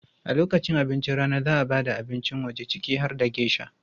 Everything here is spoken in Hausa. A lokacin abincin rana, za a ba da abincin waje ciki har da geisha.